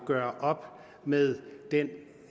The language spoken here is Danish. gør op med den